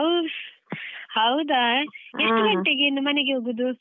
ಹೌದಾ ಎಷ್ಟು ಗಂಟೆಗೆ ಇನ್ನು ಮನೆಗೆ ಹೋಗುದು?